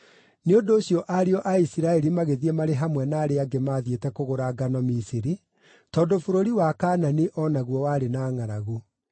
Nĩ ũndũ ũcio ariũ a Isiraeli magĩthiĩ marĩ hamwe na arĩa angĩ maathiĩte kũgũra ngano Misiri, tondũ bũrũri wa Kaanani o naguo warĩ na ngʼaragu.